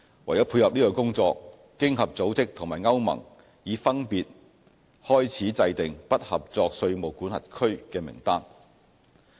為配合這工作，經合組織和歐盟已分別開始制訂"不合作稅務管轄區"名單。